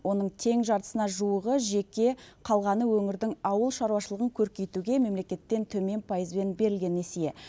оның тең жартысына жуығы жеке қалғаны өңірдің ауыл шаруашылығын көркейтуге мемлекеттен төмен пайызбен берілген несие